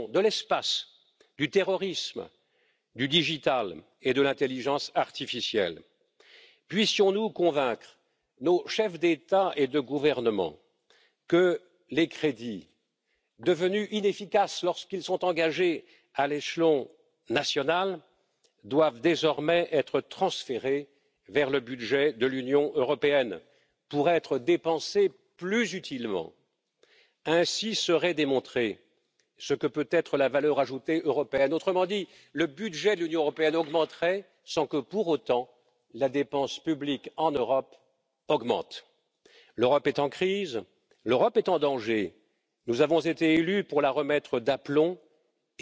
erarbeiten und verabschieden wird Wir werden gemeinsam durch das Ziel gehen. Ich baue auf die konstruktive Basis, die in der heutigen Diskussion erkennbar wurde, und die gemeinsamen Ziele, dass wir es schaffen werden, in der Zeit als klares Symbol für die Bürgerinnen und Bürger in Europa zu zeigen, dass wir Parlament, Kommission und Rat in der Lage sind, mit dem Haushalt 2019 gemeinsame Ziele zu erreichen. Das sind wir den Europäerinnen und Europäern schuldig. Gerade vor einer Wahl des Europäischen Parlaments ist es